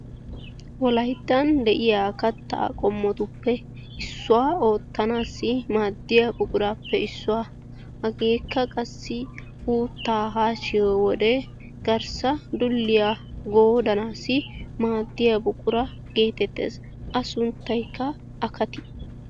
Wolayttan de"iya kattaa qommotuppe issuwa oottanaassi maaddiya buquraappe issuwa hageekka qassi uuttaa haashshiyo wode garssa dulliya goodanaassi maaddiya buqura geetettes. A sunttaykka akatiya.